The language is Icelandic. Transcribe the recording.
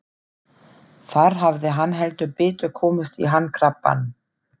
Þar hafði hann heldur betur komist í hann krappan.